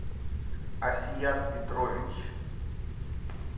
асият петрович